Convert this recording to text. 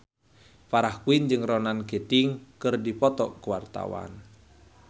Farah Quinn jeung Ronan Keating keur dipoto ku wartawan